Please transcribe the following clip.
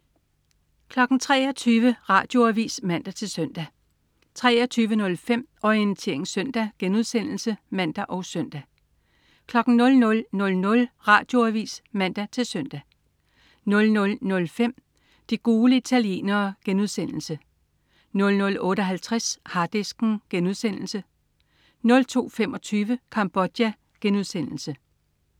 23.00 Radioavis (man-søn) 23.05 Orientering Søndag* (man og søn) 00.00 Radioavis (man-søn) 00.05 De gule italienere* 00.58 Harddisken* 02.25 Cambodja*